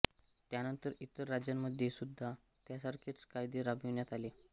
त्यानंतर ईतर राज्यांमध्ये सुद्धा त्यासारखेच कायदे राबविण्यात आले